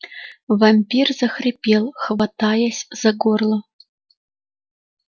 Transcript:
вампир захрипел хватаясь за горло